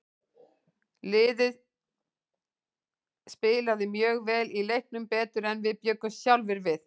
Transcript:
Liðið spilaði mjög vel í leiknum, betur en við bjuggumst sjálfir við.